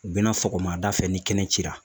U bɛna sɔgɔmada fɛ ni kɛnɛ cira